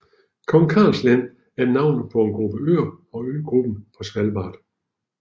Kong Karls Land er navnet på en gruppe øer på øgruppen Svalbard